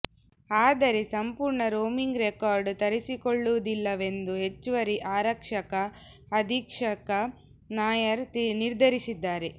ಆದರೆ ಸಂಪೂರ್ಣ roaming record ತರಿಸಿಕೊಳ್ಳುವುದಿಲ್ಲವೆಂದು ಹೆಚ್ಚುವರಿ ಆರಕ್ಷಕ ಅಧೀಕ್ಷಕ ನಾಯರ್ ನಿರ್ಧರಿಸಿದ್ದಾರೆ